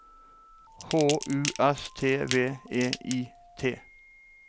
H U S T V E I T